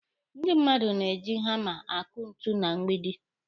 Ndị mmadụ na-eji hama akụ ntu na mgbidi.